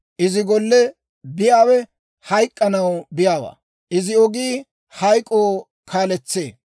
Izi golle biyaawe hayk'k'anaw biyaawaa; izi ogii hayk'k'oo kaaletsee.